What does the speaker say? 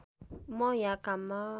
म यहाँ काममा